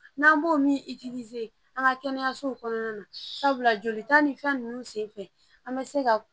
N'an b'o min an ka kɛnɛyasow kɔnɔna na sabula jolita ni fɛn nunnu senfɛ an bɛ se ka